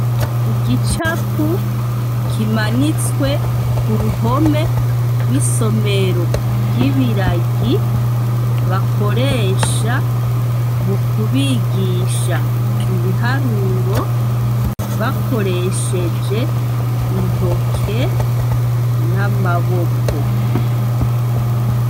Igicapu kimanitswe ku ruhome rw'isomero ry'ibiragi bakoresha mu kubigisha ibiharuro bakoresheje intoke n'amaboko.